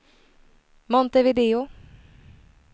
Montevideo